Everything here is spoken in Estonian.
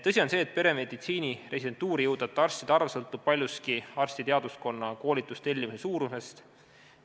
" Tõsi on see, et peremeditsiini residentuuri jõudvate arstide arv sõltub paljuski arstiteaduskonna koolitustellimuse suurusest.